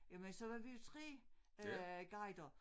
Jamen så var vi jo 3 øh guider